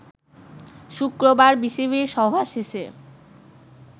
শুক্রবার বিসিবির সভা শেষে